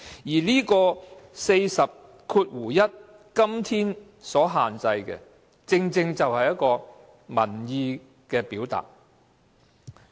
《議事規則》第401條今天所限制的，正是民意的表達。